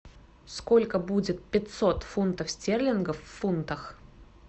сколько будет пятьсот фунтов стерлингов в фунтах